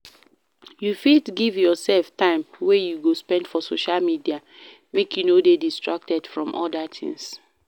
You fit give yourself time wey you go spend for social medial make you no de distracted from other things